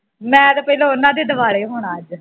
ਮੈਂ ਤੇ ਪਹਿਲਾਂ ਉਨ੍ਹਾਂ ਦੇ ਦਵਾਲੇ ਹੋਣਾ ਅੱਜ